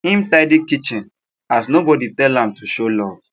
him tidy kitchen as nobody tell am to show love